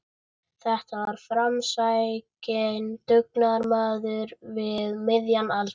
Þetta var framsækinn dugnaðarmaður við miðjan aldur.